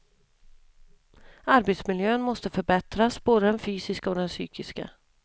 Arbetsmiljön måste förbättras, både den fysiska och den psykiska.